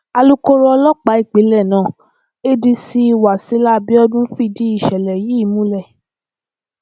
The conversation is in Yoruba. alūkkóró ọlọpàá ìpínlẹ náà adc wasila abiodun fìdí ìṣẹlẹ yìí múlẹ